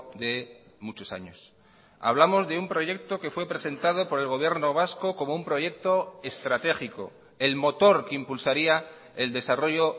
de muchos años hablamos de un proyecto que fue presentado por el gobierno vasco como un proyecto estratégico el motor que impulsaría el desarrollo